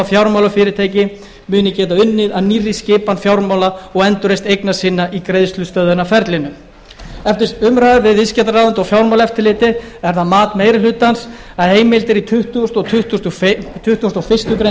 fjármálafyrirtækin muni geta unnið að nýrri skipan fjármála og endurreisn eigna sinna í greiðslustöðvunarferlinu eftir umræður við viðskiptaráðuneyti og fjármálaeftirlitið er það mat meiri hlutans að heimildir í tuttugasta og tuttugasta og fyrstu grein